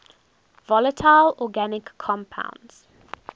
volatile organic compounds